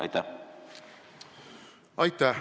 Aitäh!